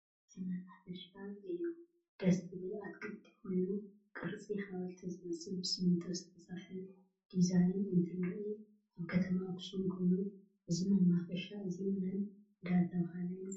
እዚ መናፈሻ እየ ደስ ዝብል ኣትክልቲ ኮይኑ ቅርፂ ሓወልቲ ዝመስል ብስምንቶ ዝተሰርሕ ድዛይን እንትርኢ ኣብ ከተማ ኣክሱም ኮይኑ እዚ መናፈሻ እዚ መን እዳተበሃለ ይፅዋዕ?